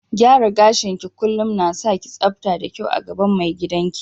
Gyaran gashi ki kullum na sa ki sabta da kyau a gaban mai gidan ki.